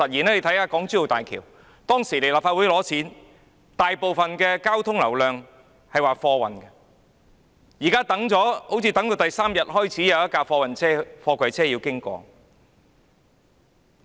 政府就港珠澳大橋向立法會申請撥款時指出，大部分交通流量是貨運，但通車第三天才有一輛貨櫃車經過。